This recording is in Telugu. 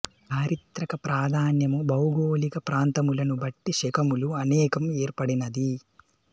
చారిత్రక ప్రాధాన్యము భౌగోళిక ప్రాంతములను బట్టి శకములు అనేకం ఏర్పడినది